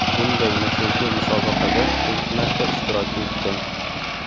Bunday nufuzli musobaqada ilk marta ishtirok etdim.